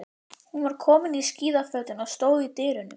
Hún var komin í skíðafötin og stóð í dyrunum.